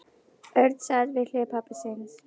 Örn sat við hlið pabba síns.